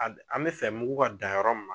an bɛ fɛ mugu ka dan yɔrɔ min